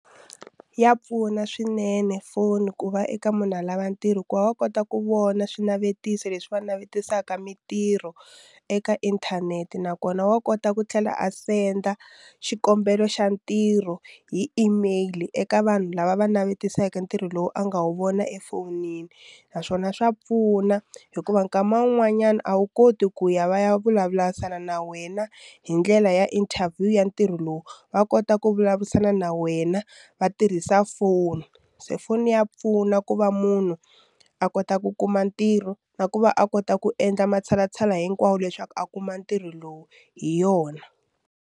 Ya pfuna swinene foni ku va eka munhu a lava ntirho hikuva wa kota ku vona swinavetiso leswi va navetisaka mintirho eka inthanete nakona wa kota ku tlhela a senda xikombelo xa ntirho hi email eka vanhu lava va navetisaka ntirho lowu a nga wu vona efowunini naswona swa pfuna hikuva nkama wun'wanyana a wu koti ku ya va ya vulavurisana na wena hi ndlela ya interview ya ntirho lowu va kota ku vulavurisana na wena va tirhisa foni se foni ya pfuna ku va munhu a kota ku kuma ntirho na ku va a kota ku endla matshalatshala hinkwawo leswaku a kuma ntirho lowu hi yona.